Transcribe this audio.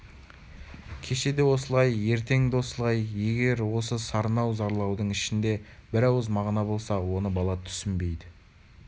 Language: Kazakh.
кеше де осылай ертең де осылай егер осы сарнау зарлаудың ішінде бір ауыз мағына болса оны бала түсінбейді